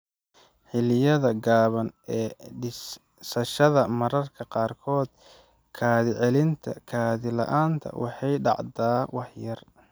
Xilliyada Gaaban ee Diidashada Mararka qaarkood kaadi-celinta kaadi-la'aanta waxay dhacdaa wax yar.